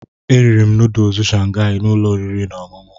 Eriri m nọdụsụ Shangai na ụlọ oriri na ọṅụṅụ.